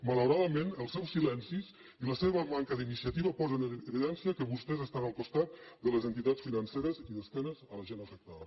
malauradament els seus silencis i la seva manca d’iniciativa posen en evidència que vostès estan al costat de les entitats financeres i d’esquena a la gent afectada